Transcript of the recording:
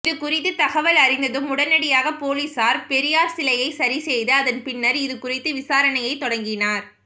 இதுகுறித்து தகவல் அறிந்ததும் உடனடியாக போலீசார் பெரியார் சிலையை சரிசெய்து அதன் பின்னர் இது குறித்து விசாரணையை தொடங்கினர்